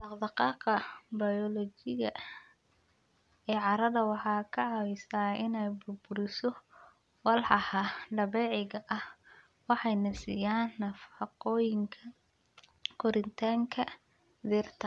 Dhaqdhaqaaqa bayoolojiga ee carrada waxay ka caawisaa inay burburiso walxaha dabiiciga ah waxayna siiyaan nafaqooyinka koritaanka dhirta.